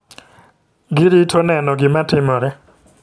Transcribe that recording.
Girito nweno gima timore.